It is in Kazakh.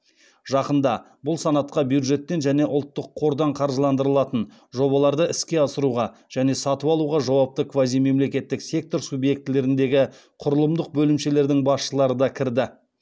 жақында бұл санатқа бюджеттен және ұлттық қордан қаржыландырылатын жобаларды іске асыруға және сатып алуға жауапты квазимемлекеттік сектор субъектілеріндегі құрылымдық бөлімшелердің басшылары да кірді